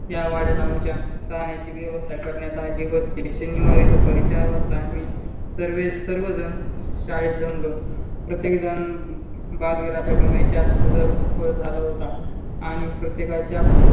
त्या वाड्यात आमच्या राहण्याची व्यवस्था करण्यात आली होती. शनिवारी दुपारी चार वाजता आम्ही सर्व्ह झण आम्ही जमलो होतो. प्रत्यक झण बलविरच्या गांवेशत हजार झाला होतो.